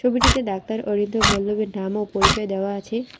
ছবিটিতে ডাক্তার অরিন্দম বল্লভের নাম ও পরিচয় দেওয়া আছে।